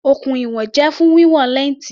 Okùn ìwọ̀n jẹ́ fún wíwọn lẹ́ǹtì.